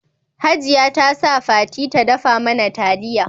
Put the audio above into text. Hajia ta sa Fati ta dafa mana taliya